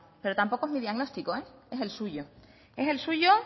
pero tampoco es mi diagnóstico es el suyo es el suyo